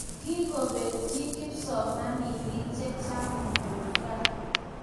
kikobetyi kipsomaninik chechang muguka